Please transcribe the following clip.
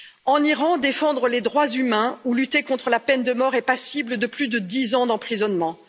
En Iran, défendre les droits humains ou lutter contre la peine de mort est passible de plus de 10 ans d'emprisonnement.